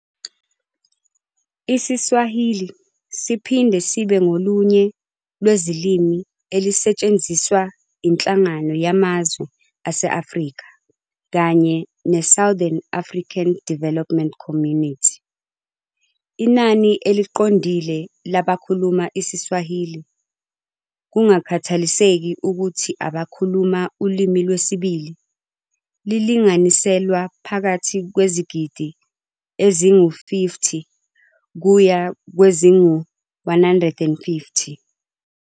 IsiSwahili siphinde sibe ngolunye lwezilimi ezisetshenziswa yiNhlangano Yamazwe ase-Afrika kanye ne-Southern African Development Community. Inani eliqondile labakhuluma isiSwahili, kungakhathaliseki ukuthi abakhuluma ulimi lwesibili, lilinganiselwa phakathi kwezigidi ezingu-50 kuya kwezingu-150.